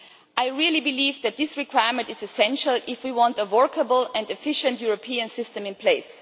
I really believe that this requirement is essential if we want a workable and efficient European system in place.